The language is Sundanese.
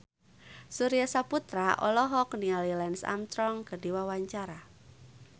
Surya Saputra olohok ningali Lance Armstrong keur diwawancara